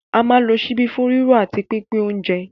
À ń lo ṣíbí fún rírò àti pínpín oúnjẹ